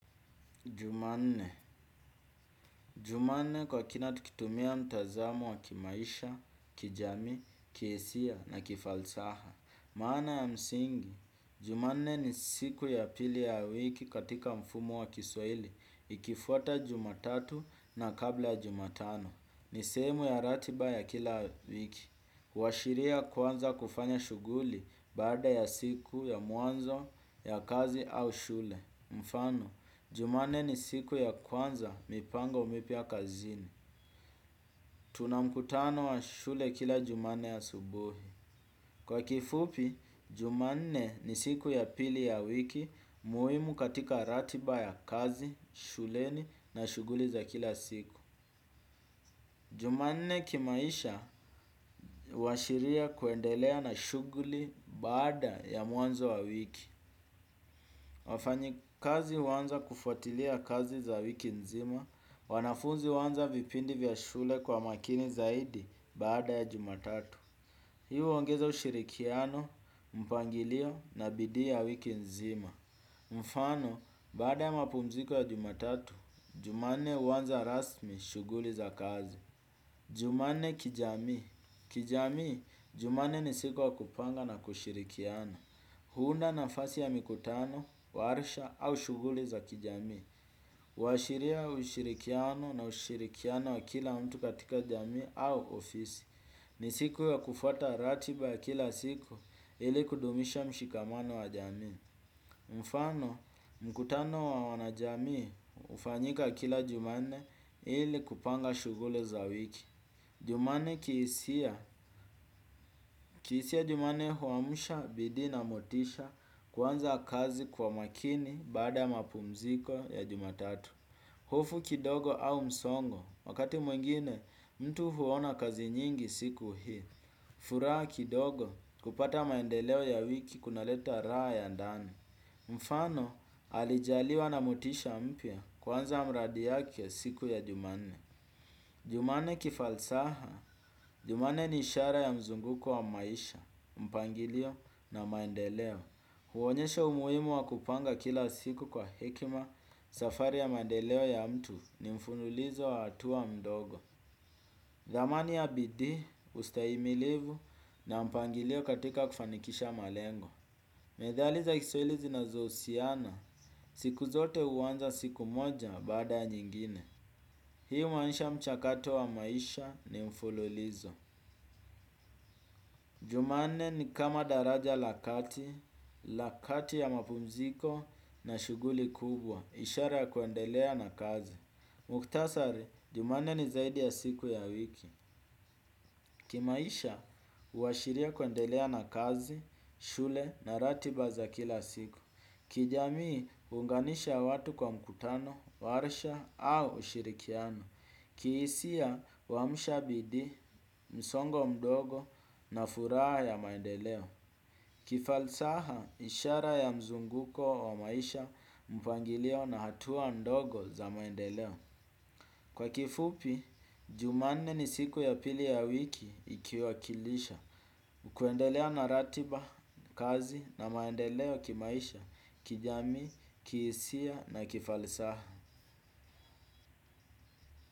Jumanne. Jumanne kwa kina tukitumia mtazamo wa kimaisha, kijami, kiesia na kifalsaha. Maana ya msingi. Jumanne ni siku ya pili ya wiki katika mfumo wa kiswaili ikifuata jumatatu na kabla jumatano. Ni semu ya ratiba ya kila wiki. Uwashiria kwanza kufanya shuguli bada ya siku ya muanzo ya kazi au shule. Mfano, jumanne ni siku ya kwanza mipango mipia kazini. Tuna mkutano wa shule kila jumane asubuhi. Kwa kifupi, jumanne ni siku ya pili ya wiki muimu katika ratiba ya kazi, shuleni na shuguli za kila siku. Jumanne kimaisha washiria kuendelea na shuguli baada ya muanzo wa wiki. Wafanyi kazi wanza kufuatilia kazi za wiki nzima, wanafunzi wanza vipindi vya shule kwa makini zaidi bada ya jumatatu. Hii uwongeza ushirikiano, mpangilio na bidii ya wiki nzima. Mfano, bada ya mapumziko ya jumatatu, jumane wanza rasmi shuguli za kazi. Jumanne kijami, kijami, jumane ni siku wa kupanga na kushirikiana. Huunda nafasi ya mikutano, warisha au shuguli za kijami. Washiria ushirikiano na ushirikiano wa kila mtu katika jami au ofisi. Ni siku ya kufuata ratiba ya kila siku ili kudumisha mshikamano wa jami. Mfano, mkutano wa wanajami ufanyika kila jumane ili kupanga shuguli za wiki. Jumane kiisia, kiisia jumane huwamusha bidi na motisha kwanza kazi kwa makini bada mapumziko ya jumatatu. Hofu kidogo au msongo, wakati mwingine mtu huwona kazi nyingi siku hii. Furaa kidogo kupata maendeleo ya wiki kunaleta raha ya ndani. Mfano alijaliwa na motisha mpia kwanza mradi yake siku ya jumane. Jumane kifalsaha, jumane ni ishara ya mzunguko wa maisha, mpangilio na maendeleo. Huonyesha umuimu wa kupanga kila siku kwa hekima safari ya maendeleo ya mtu ni mfunulizo wa hatua mdogo. Damani ya bidii, ustaimilivu na mpangilio katika kufanikisha malengo. Medhali za kiswahili zinazosiana, siku zote uwanza siku moja bada ya nyingine. Hii umanisha mchakato wa maisha ni mfululizo. Jumane ni kama daraja lakati, lakati ya mapunziko na shuguli kubwa. Ishara ya kuendelea na kazi. Muktasari, jumane ni zaidi ya siku ya wiki. Kimaisha, uwashiria kuendelea na kazi, shule na ratiba za kila siku. Kijamii unganisha watu kwa mkutano, warsha au ushirikiano. Kiisia wamushabidi, msongo mdogo nafuraa ya maendeleo. Kifalsaha ishara ya mzunguko wa maisha mpangilio na hatua ndogo za maendeleo. Kwa kifupi, jumane ni siku ya pili ya wiki ikiwakilisha. Kuendelea na ratiba, kazi na maendeleo kimaisha, kijami, kisia na kifalisaha.